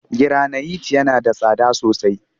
Giranayit yana da tsada sosai